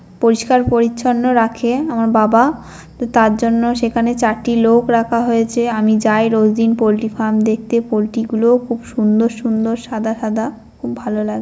পরিষ্কার পরিচ্ছন্ন রাখে আমার বাবা। তো তার জন্য সেখানে চারটি লোক রাখা হয়েছে। আমি যাই রোজ দিন পোল্ট্রি ফার্ম দেখতে। পোল্ট্রি গুলোও খুব সুন্দর সুন্দর সাদা সাদা। খুব ভালো লাগে।